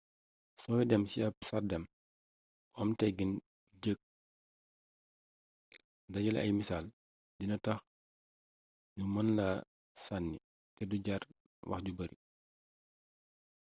sooy dem ci ab sàrdeŋ bu am teggiin bu jekk dajale ay misaal dina tax ñu mën laa sànni te du jàr wax ju bari